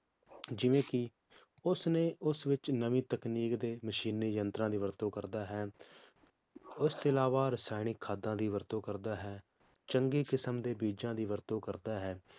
ਜਿਵੇ ਕਿ ਉਸ ਨੇ ਉਸ ਵਿਚ ਨਵੀ ਤਕਨੀਕ ਤੇ ਮਸ਼ੀਨੀ ਯੰਤਰਾਂ ਦੀ ਵਰਤੋਂ ਕਰਦਾ ਹੈ, ਉਸ ਦੇ ਅਲਾਵਾ ਰਸਾਇਣਿਕ ਖਾਦਾਂ ਦੀ ਵਰਤੋਂ ਕਰਦਾ ਹੈ, ਚੰਗੇ ਕਿਸਮ ਦੇ ਬੀਜਾਂ ਦੀ ਵਰਤੋਂ ਕਰਦਾ ਹੈ,